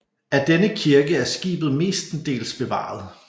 Af denne kirke er skibet mestendels bevaret